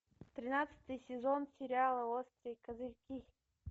тринадцатый сезон сериала острые козырьки